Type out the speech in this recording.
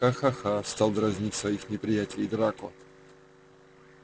хахаха стал дразнить своих неприятелей драко